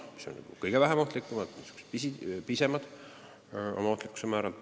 Neid määratakse kõige vähem ohtlike, oma ohtlikkuse määralt pisemate tegude eest.